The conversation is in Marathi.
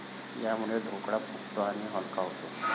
यामुळे ढोकळा फुगतो आणि हलका होतो.